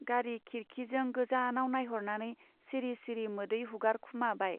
गारि खिरखि जों गोजानाव नाइहरनानै सिरि सिरि मोदै हुगारखोमाबाय।